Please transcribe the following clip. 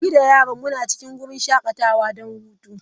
Ni da yaran muna cikin wurin shakatawa don hutu.